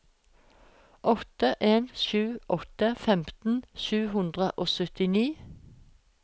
åtte en sju åtte femten sju hundre og syttini